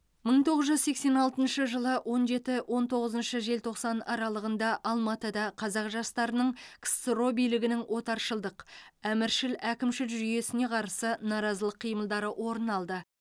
мың тоғыз жүз сексен алтыншы жылы он жеті он тоғызыншы желтоқсан аралығында алматыда қазақ жастарының ксро билігінің отаршылдық әміршіл әкімшіл жүйесіне қарсы наразылық қимылдары орын алды